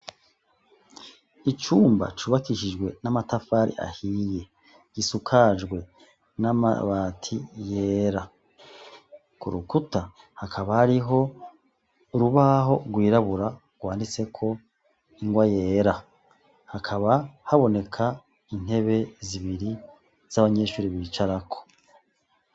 Icumba cubakishijwe n'amatafari ahiye, gisukaje namabati yera, kurukuta hakaba hariho urubaho rwirabura rwanditseko ingwa yera, hakaba haboneka intebe zibiri z'abanyeshure bicarako.